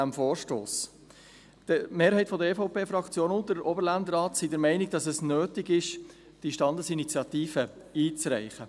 Die Mehrheit der EVP-Fraktion und der Oberländerrat sind der Meinung, dass es nötig ist, diese Standesinitiative einzureichen.